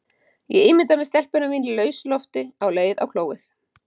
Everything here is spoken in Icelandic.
Ég ímynda mér stelpuna mína í lausu lofti á leið á klóið.